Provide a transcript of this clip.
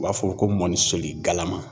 U b'a fɔ ko mɔni soli galama.